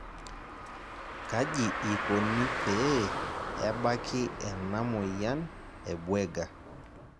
Kaji ikoni pee ebaki ena amoyian e Buerger?